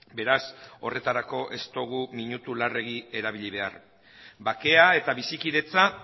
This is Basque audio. beraz horretarako ez dugu minutu larregi erabili behar bakea eta bizikidetza